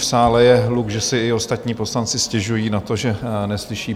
V sále je hluk, že si i ostatní poslanci stěžují na to, že neslyší.